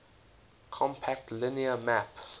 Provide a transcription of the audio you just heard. compact linear map